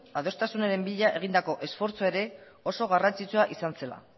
adostasunaren bila egindako esfortzua ere oso garrantzitsua izan zela